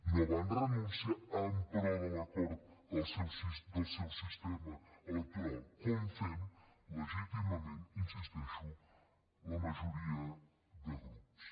no van renunciar en pro de l’acord al seu sistema electoral com fem legítimament hi insisteixo la majoria de grups